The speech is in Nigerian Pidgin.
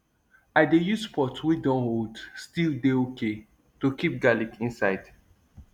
i dey use pot wey dun old still dey okay to keep garlic inside